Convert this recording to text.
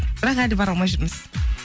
бірақ әлі бара алмай жүрміз